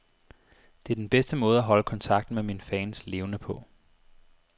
Det er den bedste måde at holde kontakten med mine fans levende på.